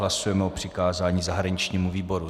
Hlasujeme o přikázání zahraničnímu výboru.